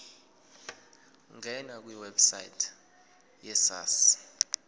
ngena kwiwebsite yesars